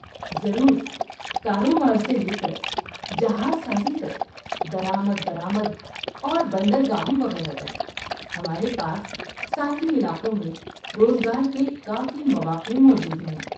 ضرور! کاروبار سے لے کر جہاز سازی تک، درآمد برآمد اور بندرگاہوں وغیرہ تک، ہمارے پاس ساحلی علاقوں میں روزگار کے کافی مواقع موجود ہیں۔